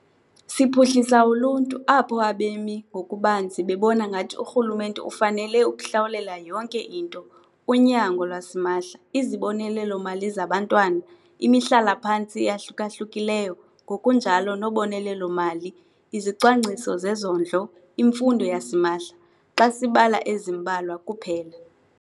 Siphuhlisa uluntu apho abemi ngokubanzi bebona ngathi urhulumente ufanele ukuhlawulela yonke into - unyango lwasimahla, izibonelelo-mali zabantwana, imihlala-phantsi eyahluka-hlukileyo ngokunjalo nobonelelo-mali, izicwangciso zezondlo, imfundo yasimahla, xa sibala ezimbalwa kuphela.